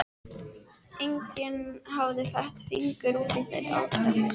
Enginn hafði fett fingur út í þær aðferðir.